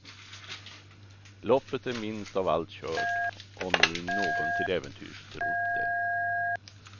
Loppet är minst av allt kört, om nu någon till äventyrs trott det.